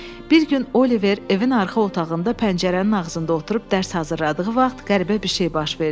Bir gün Oliver evin arxa otağında pəncərənin ağzında oturub dərs hazırladığı vaxt qəribə bir şey baş verdi.